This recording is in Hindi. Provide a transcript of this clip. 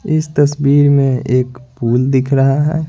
इस तस्वीर में एक पूल दिख रहा है।